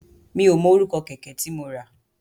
Mi ò mọ orúkọ kẹ̀kẹ́ tí mo rà.